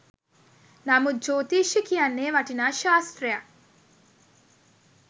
නමුත් ජෝතිෂ්‍ය කියන්නේ වටිනා ශාස්ත්‍රයක්.